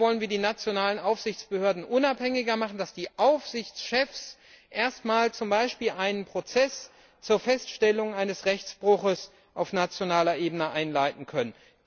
Da wollen wir die europäischen Aufsichtsbehörden unabhängiger machen, damit die Aufsichtschefs erstmals zum Beispiel einen Prozess zur Feststellung eines Rechtsbruchs auf nationaler Ebene einleiten können.